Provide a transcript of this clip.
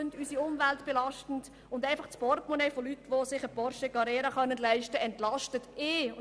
sie belasten unsere Umwelt, sie entlasten einfach das Portemonnaie von Leuten, die sich einen Porsche Carrera leisten können.